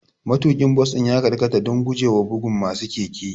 Matuƙin bas ɗin ya karkata don gujewa bugun masu keke.